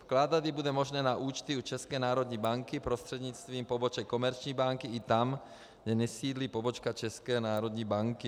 Vkládat ji bude možné na účty u České národní banky prostřednictvím poboček komerční banky i tam, kde nesídlí pobočka České národní banky.